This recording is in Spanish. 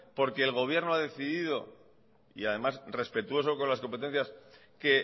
porque el gobierno ha decidido y además respetuoso con las competencias que